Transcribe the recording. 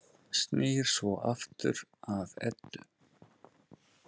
Snýr svo aftur að Eddu.